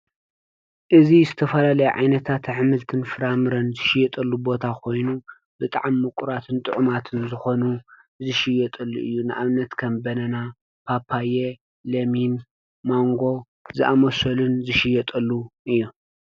እዚ ዝተፈላለዩ ዓይነታት ኣሕምልትን ፍራምረን ዝሽየጠሉ ቦታ ኮይኑ ብጣዕሚ ምቁራትን ጥዑማት ንዝኾኑ ዝሽየጠሉ እዩ:: ንኣብነት ከም ባናና፣ ፓፓየ፣ ለሚን፣ ማንጎን ዘኣመሰሉን ዝሽየጠሉ እዩ::